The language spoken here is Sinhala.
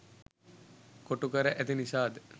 කොටු කර ඇති නිසා ද?